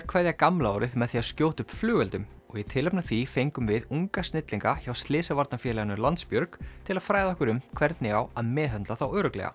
kveðja gamla árið með því að skjótu upp flugeldum og í tilefni af því fengum við unga snillinga hjá Slysavarnafélaginu Landsbjörg til að fræða okkur um hvernig á að meðhöndla þá örugglega